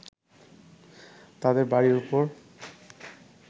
তাদের বাড়ির উপর